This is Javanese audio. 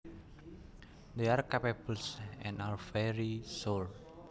They are crabapples and are very sour